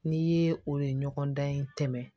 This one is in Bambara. N'i ye o ye ɲɔgɔndan in tɛmɛn